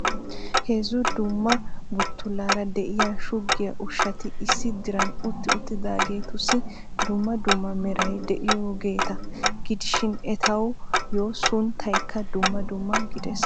Heezzu dumma buttulaara de'iyaa shugiyaa ushshati issi diran utti uttidaageetussi dumma dumma meray dd'iyoogeeta gidishin etayyo sunttaykka dumma dumma gidees.